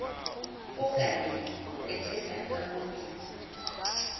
okanye ethetha kakubi